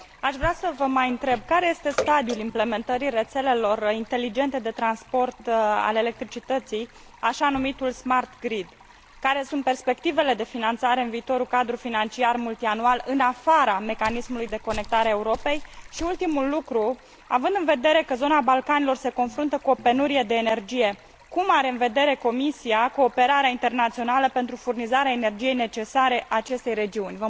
Aș vrea să vă mai întreb care este stadiul implementării rețelelor inteligente de transport al electricității, așa numitul Smart Grid care sunt perspectivele de finanțare în viitorul cadru financiar multianual, în afara mecanismului Conectarea Europei și, ultimul lucru, având în vedere că zona Balcanilor se confruntă cu o penurie de energie, cum are în vedere Comisia cooperarea internațională pentru furnizarea energiei necesare acestei regiuni?